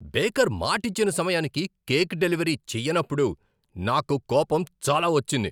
Baker మాటిచ్చిన సమయానికి cake delivery చేయనప్పుడు నాకు కోపం చాలా వచ్చింది.